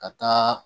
Ka taa